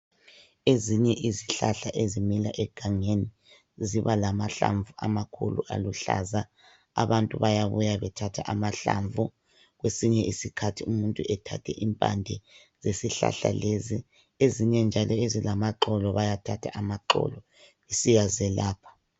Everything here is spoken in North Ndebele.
Ezinye izihlahla ezimila egangeni ziba lamahlamvu amakhulu aluhlaza abantu bayabuya bethathe amahlamvukwesinye isikhathi umuntu athathe impande yezihlahla lezi ezinye njalo ezilama xolo bayathatha amaxolo besiya zilapha ngawo.